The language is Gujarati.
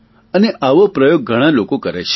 અને આવો પ્રયોગ ઘણા લોકો કરે છે